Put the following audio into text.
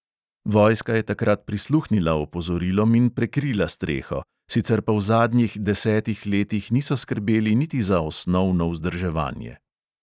Vojska je takrat prisluhnila opozorilom in prekrila streho, sicer pa v zadnjih desetih letih niso skrbeli niti za osnovno vzdrževanje.